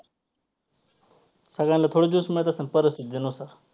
सगळ्यांना थोडं juice माहित असेन परिस्थितीनुसार.